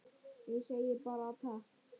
Ég segi bara takk.